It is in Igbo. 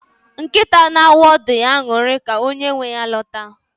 Nkịta na-awụ ọdụ ya aṅụrị ka onye nwe ya lọta.